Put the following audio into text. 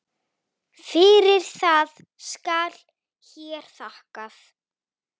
Fyrir það skal hér þakkað.